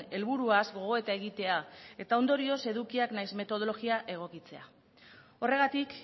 helburuaz gogoeta egitea eta ondorioz edukiak nahiz metodologia egokitzea horregatik